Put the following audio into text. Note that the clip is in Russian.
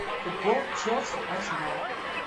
футбол челси арсенал